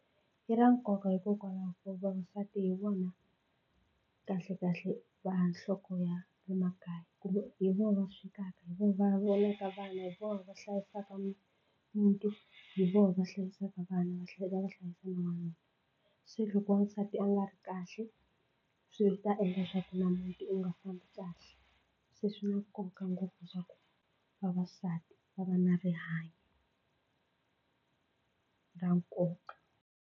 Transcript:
I ra nkoka hikokwalaho ko vavasati hi vona kahlekahle va nhloko ya le makaya kumbe hi vona va swekaka, hi vona va vonaka vana, hi vona va hlayisaka muti, hi vona va hlayisaka vana va tlhela va hlayisa na n'wanuna se loko n'wansati a nga ri kahle swi ta endla swa ku na muti u nga fambi kahle se swi na nkoka ngopfu leswaku vavasati va nga na rihanyo ra nkoka.